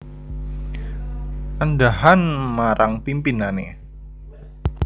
Andhahan marang pimpinane